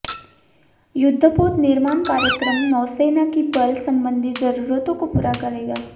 युद्धपोत निर्माण कार्यक्रम नौसेना की बल संबंधी जरूरतों को पूरा करेगा